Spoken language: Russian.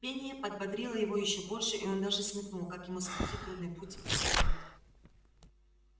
пение подбодрило его ещё больше и он даже смекнул как ему сократить трудный путь по тропе